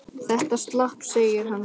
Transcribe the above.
Þetta slapp, segir hann síðan.